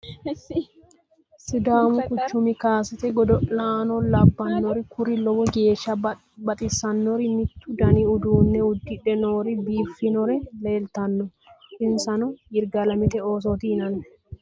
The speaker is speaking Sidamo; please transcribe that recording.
Sidamu kucim kaasete godolanno labanori kuri low geshsha baxisanori mitu Dani udinne udidhe nori bifinore lelitanno insano yirgalemete oosoti yinanni